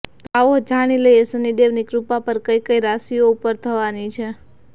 તો આવો જાણી લઈએ શનિદેવ ની કૃપા કઈ કઈ રાશિઓ પર થવાની છે